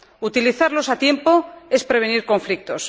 utilizarlos a tiempo es prevenir conflictos